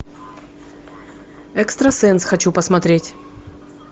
экстрасенс хочу посмотреть